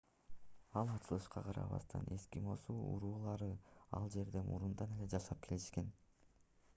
ал ачылышка карабастан эскимос уруулары ал жерде мурунтан эле жашап келишкен